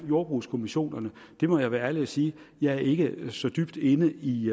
jordbrugskommissionerne må jeg være ærlig og sige at jeg ikke er så dybt inde i